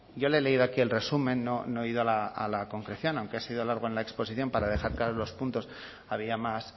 yo le he leído aquí el resumen no he ido a la concreción aunque he sido largo en la exposición para dejar claros los puntos había más